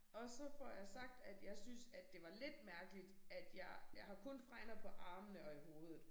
Og så får jeg sagt at jeg synes at det var lidt mærkeligt at jeg jeg har kun fregner på armene og i hovedet